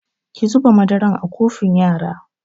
Ki zuba madaran a kofin yara!